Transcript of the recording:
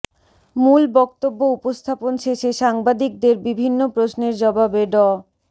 মূল বক্তব্য উপস্থাপন শেষে সাংবাদিকদের বিভিন্ন প্রশ্নের জবাবে ড